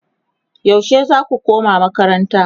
yaushe zaku koma makaranta?